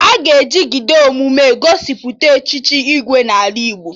Aga ejigide emume egosipụta Echichi Igwe n'ala Igbo